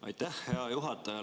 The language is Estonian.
Aitäh, hea juhataja!